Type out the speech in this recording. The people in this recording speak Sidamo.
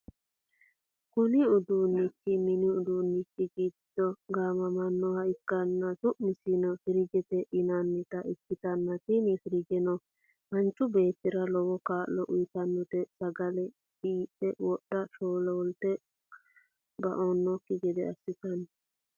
kuni uduunnichi, mini uduunnichi giddo gaamamannoha ikkanna, su'maseno firiijete yinannita ikkitanna, tini firiijeno manchu beetira lowo kaa'lo uytannote, sagale qiidhe woy sholte ba'annokki gede assitanno.